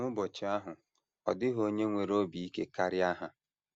N’ụbọchị ahụ, ọ dịghị onye nwere obi ike karịa ha. ”